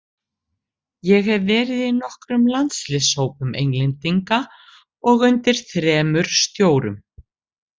Ég hef verið í nokkrum landsliðshópum Englendinga og undir þremur stjórum.